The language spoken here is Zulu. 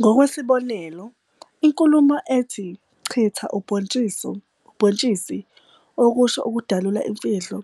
Ngokwesibonelo, inkulumo ethi "chitha ubhontshisi", okusho ukudalula imfihlo,